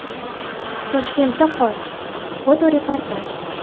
Toshkentda qor (fotoreportaj).